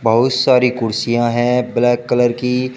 बहुत सारी कुर्सियां हैं ब्लैक कलर की।